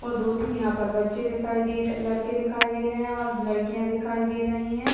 और दो-तीन यहाँ पर बच्चे दिखाई दे रहे लड़के दिखाई दे रहे हैं और लड़कियाँ दिखाई दे रही हैं।